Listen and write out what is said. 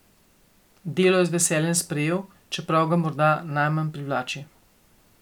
Delo je z veseljem sprejel, čeprav ga moda najmanj privlači.